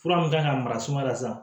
Fura min kan ka mara sumaya la sa